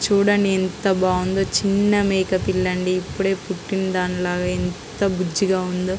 చుడండి ఎంత బాగుందో చిన్న మేకపిల్ల అండి ఇప్పుడే పుట్టిన దానిలాగ ఎంత బుజ్జిగా ఉందొ.